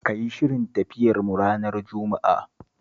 Ka yi shirin tafiyarmu ranar Juma'a